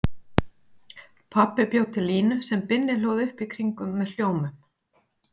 Pabbi bjó til línu sem Binni hlóð upp í kringum með hljómum.